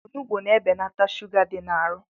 Onugbu na-ebelata shuga dị n'arụ